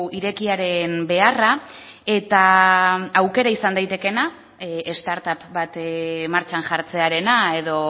irekiaren beharra eta aukera izan daitekeena start up bat martxan jartzearena edo